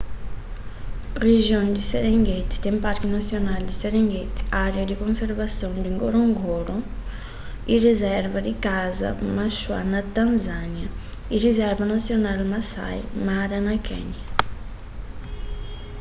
rijion di serengeti ten parki nasional di serengeti ária di konservason di ngorongoro y rizerva di kasa maswa na tanzânia y rizerva nasional maasai mara na kénia